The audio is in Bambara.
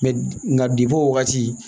nka bibɔ wagati